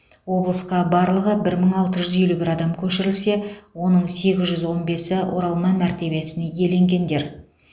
облысқа барлығы бір мың алты жүз елу бір адам көшірілсе оның сегіз жүз он бесі оралман мәртебесін иеленгендер